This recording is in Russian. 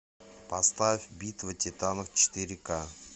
поставь битва титанов четыре ка